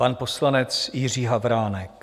Pan poslanec Jiří Havránek.